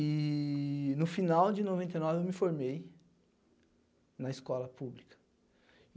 E no final de noventa e nove, eu me formei na escola pública.